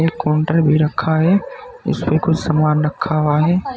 एक काउंटर भी रखा है उसपे कुछ सामान रखा हुआ है।